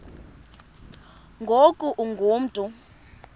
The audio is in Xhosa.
ngoku ungu mntu